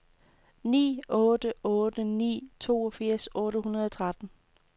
ni otte otte ni toogfirs otte hundrede og tretten